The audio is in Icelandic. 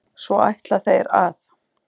Svo ætla þeir að?